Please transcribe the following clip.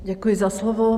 Děkuji za slovo.